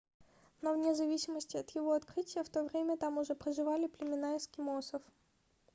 но вне зависимости от его открытия в то время там уже проживали племена эскимосов